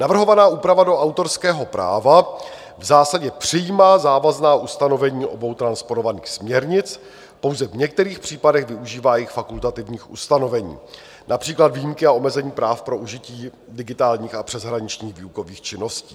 Navrhovaná úprava do autorského práva v zásadě přijímá závazná ustanovení obou transponovaných směrnic, pouze v některých případech využívá jejich fakultativních ustanovení, například výjimky a omezení práv pro užití digitálních a přeshraničních výukových činností.